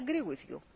I agree with you